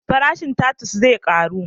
Farashin tatus zai karu?